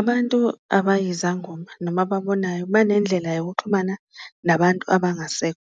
Abantu abayizangoma noma ababonayo banendlela yokuxhumana nabantu abangasekho,